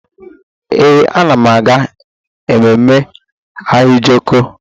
Ee, ana m aga ememme Ahịajọkụ.